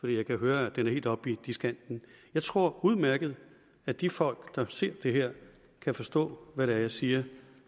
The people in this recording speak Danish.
jeg kan høre at den er helt op i diskanten jeg tror udmærket at de folk der har set det her kan forstå hvad det er jeg siger